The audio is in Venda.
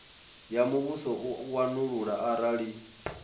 ya muvhuso u wanulula arali